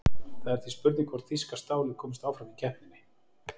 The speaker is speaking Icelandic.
Það er því spurning hvort þýska stálið komist áfram í keppninni?